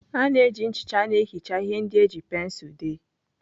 A na-eji nchicha na-ehicha ihe ndị e ji pensụl dee.